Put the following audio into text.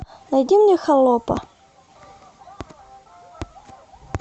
найди мне холопа